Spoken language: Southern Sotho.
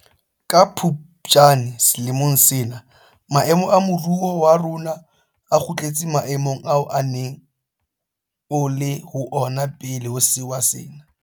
Ka Phuptjane selemong sena maemo a moruo wa rona a kgutletse maemong ao o neng o le ho ona pele ho sewa sena.